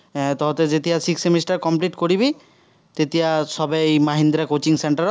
এৰ তহঁতে যেতিয়া sixth semester complete কৰিবি, তেতিয়া সবেই মাহিন্দ্ৰ coaching centre ত